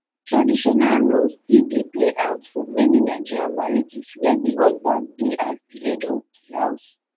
traditional roles still dey play out for many nigerian marrriages where di husband be as di head of di house